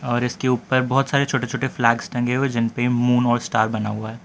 और इसके ऊपर बहोत सारे छोटे छोटे फ्लैग्स टंगे हुए है जिनपे मून और स्टार बना हुआ--